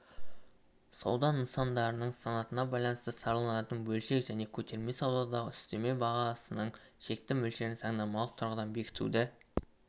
сауда нысандарының санатына байланысты сараланатын бөлшек және көтерме саудадағы үстеме бағасының шекті мөлшерін заңнамалық тұрғыдан бекітуді